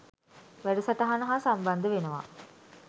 වැඩසටහන හා සම්බන්ද වෙනවා.